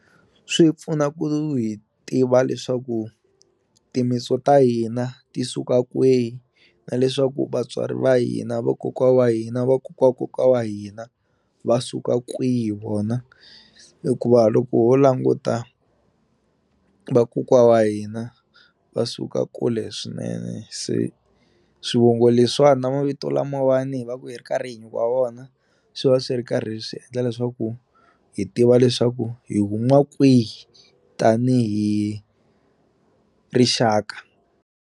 Swi pfuna ku hi tiva leswaku timitso ta hina ti suka kwihi na leswaku vatswari va hina vokokwa wa hina vakokwakokwa wa hina va suka kwihi vona hikuva loko ho languta vakokwa wa hina va suka kule swinene se swivongo leswiwani na mavito lamawani hi va ku hi ri karhi hi nyikiwa wona swi va swi ri karhi swi endla leswaku hi tiva leswaku hi huma kwihi tanihi rixaka.